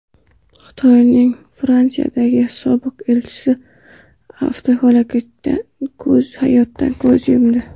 Xitoyning Fransiyadagi sobiq elchisi avtohalokatda hayotdan ko‘z yumdi.